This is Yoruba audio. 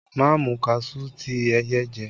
Ma mu kaṣuú ti ẹyẹ jẹ!